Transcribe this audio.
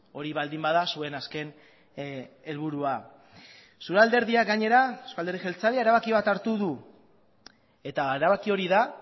hori baldin bada zuen azken helburua zure alderdiak gainera euzko alderdi jeltzaleak erabaki bat hartu du eta erabaki hori da